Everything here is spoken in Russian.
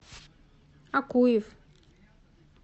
акуев